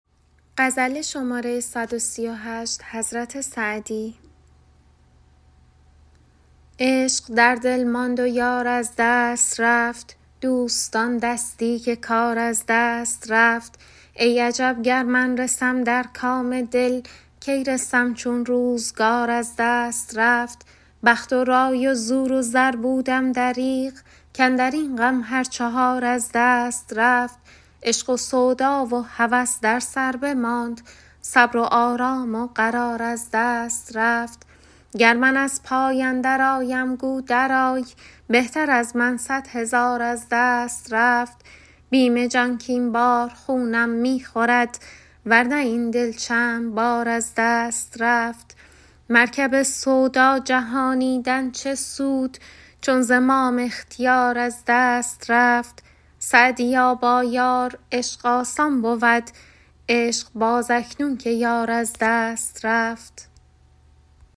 عشق در دل ماند و یار از دست رفت دوستان دستی که کار از دست رفت ای عجب گر من رسم در کام دل کی رسم چون روزگار از دست رفت بخت و رای و زور و زر بودم دریغ کاندر این غم هر چهار از دست رفت عشق و سودا و هوس در سر بماند صبر و آرام و قرار از دست رفت گر من از پای اندرآیم گو درآی بهتر از من صد هزار از دست رفت بیم جان کاین بار خونم می خورد ور نه این دل چند بار از دست رفت مرکب سودا جهانیدن چه سود چون زمام اختیار از دست رفت سعدیا با یار عشق آسان بود عشق باز اکنون که یار از دست رفت